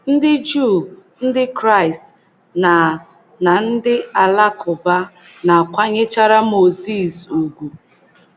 Ndị Juu, Ndị Kraịst, na na ndị Alakụba na - akwanyechara Mozis ùgwù.